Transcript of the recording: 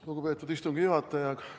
Lugupeetud istungi juhataja!